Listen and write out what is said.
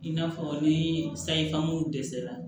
I n'a fɔ ni sayifamu dɛsɛra